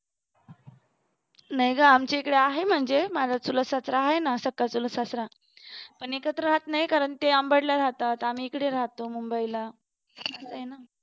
नाही ग आमचे इकडे आहे म्हणजे माझा चुलत सासरा आहे ना सखा चुलत सासरा पण एकत्र राहत नाही कारण ते अंबड ला राहतात आम्ही इकडे राहतो मुंबईला